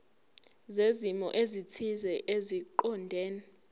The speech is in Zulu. zezimo ezithile eziqondene